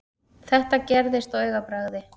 Þetta gerðist á augabragði.